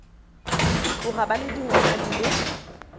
tloga ba le dingwaga di